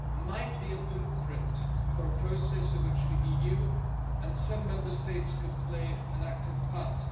might be a blueprint for a process in which the EU and some Member States could play an active part.